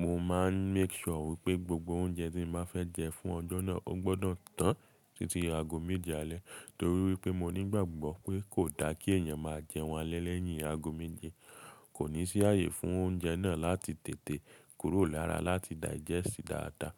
Mo máa ń make sure wípẹ́ gbogbo oúnjẹ tí mo fẹ́ jẹ fún ọjọ́ náà, ó gbọdọ̀ tán titi aago méje alẹ́ torí wípẹ́ mo nígbàgbọ́ pé kò da kí èèyàn máa jẹun alẹ́ lẹ́yìn aago méje, kò ní sí ààyè fún oúnjẹ náà láti tètè kúrò lára láti digest dáadáa.